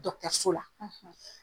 so la .